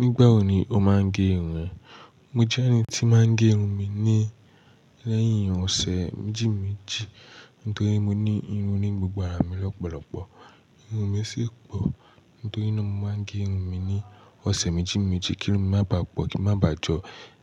Nígbà wo ni o máa ń gé irun? Mo jẹ́ ẹni tí máa ń gé irun mi ni lẹ́yìn ọ̀sẹ̀ méjì méjì. Nítorí mo ní irun ní gbogbo ara mi lọ́pọ̀lọpọ̀. Irun mi sì pò. Nítorí náà mo máa ń gé irun mi ní ọ̀sẹ̀ méjì méjì kí irun mi má baà pọ̀, kí ó má baà jọ